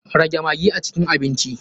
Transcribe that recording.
Rage maggi a cikin abinci.